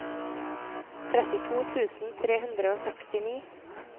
trettito tusen tre hundre og sekstini